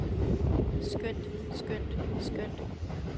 skønt skønt skønt